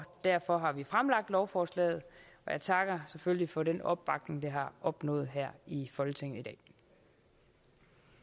derfor har vi fremsat lovforslaget og jeg takker selvfølgelig for den opbakning det har opnået her i folketinget